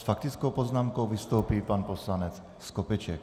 S faktickou poznámkou vystoupí pan poslanec Skopeček.